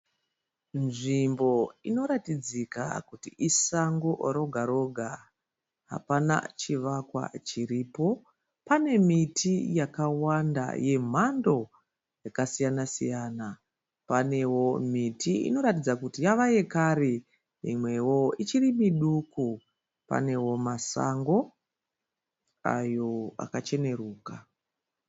Nzvimbo inoratidzika kuti isango roga -roga. Hapana chivakwa chiripo. Pane miti yakawanda yemhando yakasiyana-siyana. Panewo miti inoratidza kuti yava yekare, mimwewo ichiri miduku. Panewo masango ayo akacheneruka